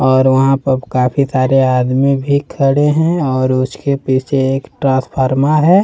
और वहां पर काफी सारे आदमी भी खड़े हैं और उसके पीछे एक ट्रांसफार्मर है।